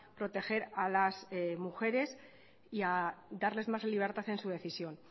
proteger a las mujeres y a darles más libertad en su decisión